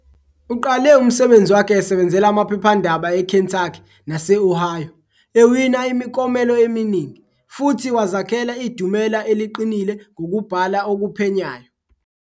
Uqale umsebenzi wakhe esebenzela amaphephandaba eKentucky nase-Ohio, ewina imiklomelo eminingi, futhi wazakhela idumela eliqinile ngokubhala okuphenyayo.